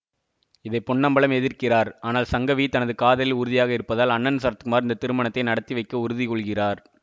இதை பொன்னம்பலம் எதிர்க்கிறார் ஆனால் சங்கவி தனது காதலில் உறுதியாக இருப்பதால் அண்ணன் சரத்குமார் இந்த திருமணத்தை நடத்தி வைக்க உறுதி கொள்கிறார்